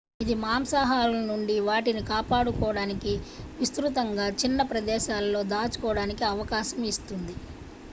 ఇది మాంసాహారుల నుండి వాటిని కాపాడుకోవడానికి విస్తృతంగా చిన్న ప్రదేశాలలో దాచుకోవడానికి అవకాశం ఇస్తుంది